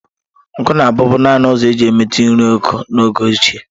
Nkụ na-abụbu naanị ụzọ e ji emetu nri oku n’oge ochie.